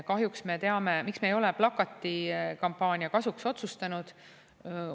Miks me ei ole plakatikampaania kasuks otsustanud?